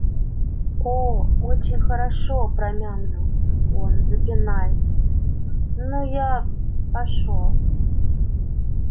оо очень хорошо промямлил он запинаясь ну я пошёл